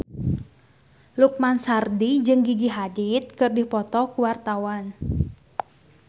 Lukman Sardi jeung Gigi Hadid keur dipoto ku wartawan